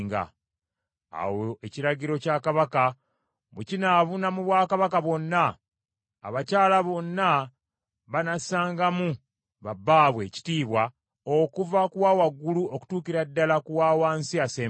Awo ekiragiro kya kabaka bwe kinaabuna mu bwakabaka bwonna, abakyala bonna banassangamu ba bbaabwe ekitiibwa okuva ku wawagulu okutuukira ddala ku wawansi asembayo.”